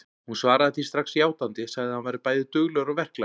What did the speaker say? Hún svaraði því strax játandi, sagði að hann væri bæði duglegur og verklaginn.